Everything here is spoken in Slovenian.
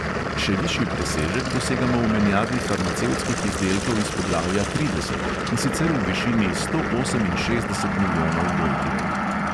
Še višji presežek dosegamo v menjavi farmacevtskih izdelkov iz poglavja trideset, in sicer v višini sto oseminšestdesetih milijonov dolarjev.